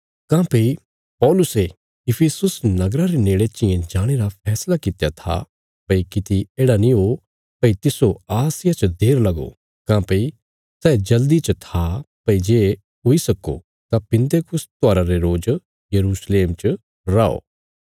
काँह्भई पौलुसे इफिसुस नगरा रे नेड़े चियें जाणे रा फैसला कित्या था भई किति येढ़ा नीं हो भई तिस्सो आसिया च देर लगो काँह्भई सै जल़्दी च था भई जे हुई सक्को तां पिन्तेकुस्त त्योहारा रे रोज यरूशलेम च रौ